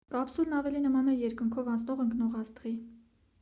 կապսուլն ավելի նման է երկնքով անցնող ընկնող աստղի